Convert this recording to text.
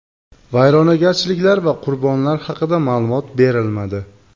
Vayronagarchiliklar va qurbonlar haqida ma’lumot berilmadi.